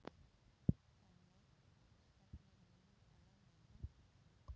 Henný, stefnir í mjúka lendingu?